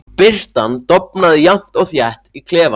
Birtan dofnaði jafnt og þétt í klefanum.